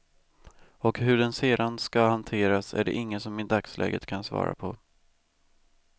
Och hur den sedan skall hanteras är det ingen som i dagsläget kan svara på.